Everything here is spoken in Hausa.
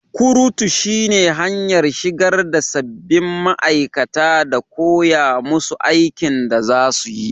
kurutu shine hanyar shigarda sabbin ma aikata da koyamusu aikin da zasuyi.